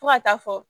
Fo ka taa fɔ